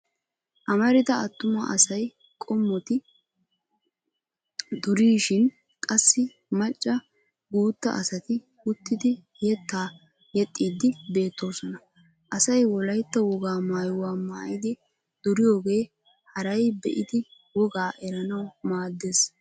Amarida attuma asay qoometti durishin qassi macca guutta asati uttidi yeettaa yexxiiddi beettoosona. Asay wolaytta wogaa maayuwa maayidi duriyoogee haray bee'idi wogaa eranawu maaddes.